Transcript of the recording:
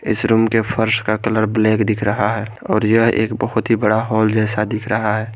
इस रूम के फर्श का कलर ब्लैक दिख रहा है और यह एक बहोत ही बड़ा हॉल जैसा दिख रहा है।